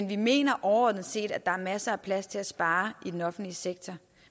vi mener overordnet set at der er masser af plads til at spare i den offentlige sektor